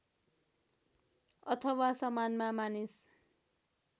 अथवा सामानमा मानिस